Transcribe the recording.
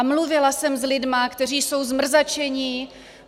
A mluvila jsem s lidmi, kteří jsou zmrzačení.